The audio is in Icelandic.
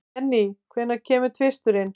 Jenny, hvenær kemur tvisturinn?